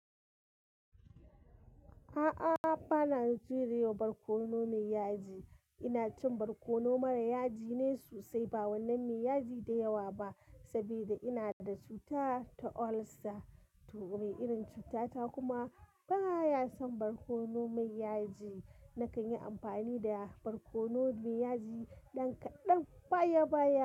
A'a, ba na shiri ds barkono mai yaji. Ina cin barkono mara yaji ne sosai, ba wannan mai yaji da yawa ba, saboda ina da cuta ta ulcer. To mai irin cutata kuma ba ya son barkono mai yaji. Nakan yi amfani da barkono mai yaji ɗan kaɗan baya baya.